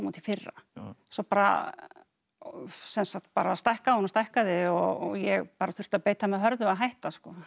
í fyrra svo bara bara stækkaði hún og stækkaði og ég bara þurfti að beita mig hörðu að hætta